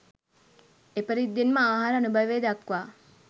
එපරිද්දෙන්ම ආහාර අනුභවය දක්වා